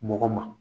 Mɔgɔ ma